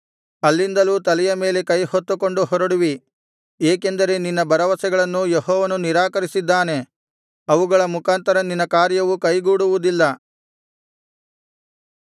ಅಲ್ಲಿಂದಲೂ ತಲೆಯ ಮೇಲೆ ಕೈಹೊತ್ತುಕೊಂಡು ಹೊರಡುವಿ ಏಕೆಂದರೆ ನಿನ್ನ ಭರವಸೆಗಳನ್ನು ಯೆಹೋವನು ನಿರಾಕರಿಸಿದ್ದಾನೆ ಅವುಗಳ ಮುಖಾಂತರ ನಿನ್ನ ಕಾರ್ಯವು ಕೈಗೂಡುವುದಿಲ್ಲ